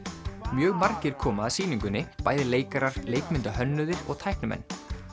mjög margir koma að sýningunni bæði leikarar og tæknimenn